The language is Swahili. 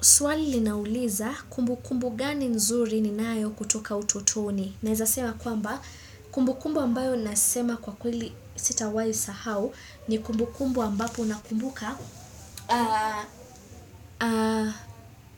Swali linauliza kumbukumbu gani nzuri ninayo kutoka utotoni. Naeza sema kwamba kumbukumbu ambayo nasema kwa kweli sitawai sahau ni kumbukumbu ambapo nakumbuka